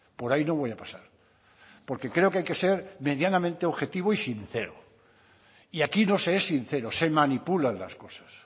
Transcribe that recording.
por ahí no voy a pasar porque creo que hay que ser medianamente objetivo y sincero y aquí no se es sincero se manipulan las cosas